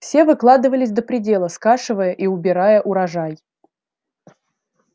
все выкладывались до предела скашивая и убирая урожай